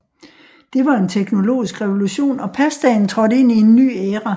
Det var en teknologisk revolution og pastaen trådte ind i en ny æra